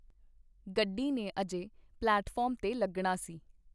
ਗੱਡੀ ਨੇ ਅਜੇ ਪਲੇਟਫਾਰਮ ਤੇ ਲੱਗਣਾ ਸੀ.